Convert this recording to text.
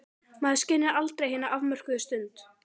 Maður skynjar aldrei hina afmörkuðu stund.